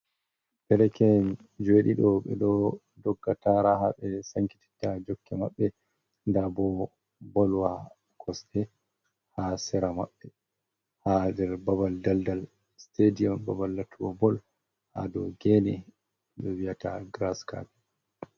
Derke’en jueɗiɗo ɓe ɗo dogga tara ha ɓe sankititta jokke maɓɓe, nda bo bolwa kosɗe ha sera maɓɓe ha nder babal daldal stadium babal lattugo bolha dou gene ɓe wiyata gras kapet.